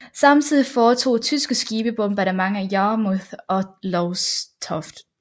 Samtidig foretog tyske skibe bombardement af Yarmouth og Lowestoft